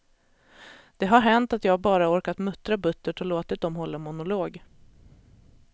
Det har hänt att jag bara orkat muttra buttert och låtit dem hålla monolog.